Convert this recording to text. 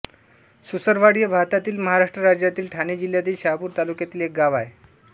सुसरवाडी हे भारतातील महाराष्ट्र राज्यातील ठाणे जिल्ह्यातील शहापूर तालुक्यातील एक गाव आहे